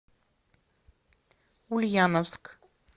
ульяновск